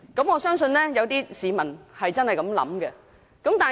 我相信有些市民真的有此想法。